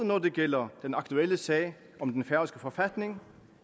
når det gælder den aktuelle sag om den færøske forfatning